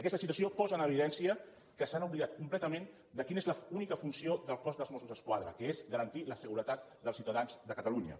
aquesta situació posa en evidència que s’han oblidat completament de quina és l’única funció del cos dels mossos d’esquadra que és garantir la seguretat dels ciutadans de catalunya